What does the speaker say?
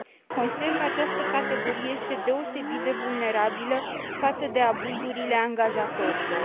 Consider că această categorie este deosebit de vulnerabilă față de abuzurile angajatorilor.